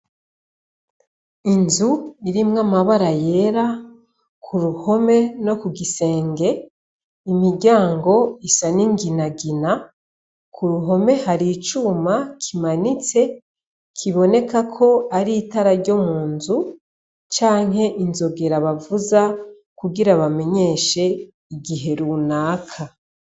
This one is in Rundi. Inzu irimwo amabara yera ku ruhome no ku gisenge, imiryango isa n'inginagina, ku ruhome hari icuma kimanitse kiboneka ko ari itara ryo mu nzu canke inzogera bavuza kugira bamenyeshe igihe runaka.